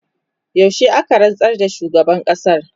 yaushe aka rantsar da shugaban ƙasar?